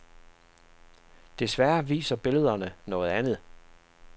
Desværre viser billederne noget andet.